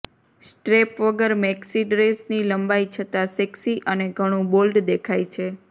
strap વગર maxi ડ્રેસની લંબાઈ છતાં સેક્સી અને ઘણું બોલ્ડ દેખાય છે